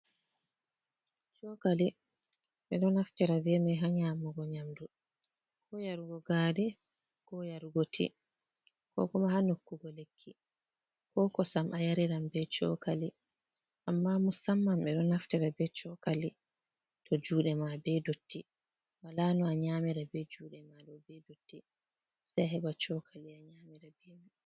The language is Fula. Chokali ɓe ɗo naftira be mai ha nyamugo nyamdu, ko yarugo gari ko yarugo ti, kokoma ha nokkugo lekki, ko kosam a yariran be chokali, amma musamman ɓe ɗo naftira be chokali to juɗe ma be dotti wola no a nyamira be juɗe ma ɗo be dotti sei a heɓa chokali a nyamira be mai.